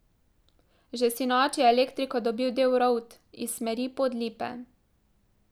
Že sinoči je elektriko dobil del Rovt iz smeri Podlipe.